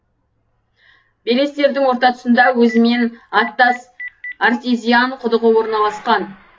белестердің орта тұсында өзімен аттас артезиан құдығы орналасқан